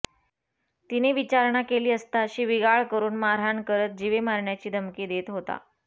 तिने विचारणा केली असता शिवीगाळ करून मारहाण करत जीवे मारण्याची धमकी देत होता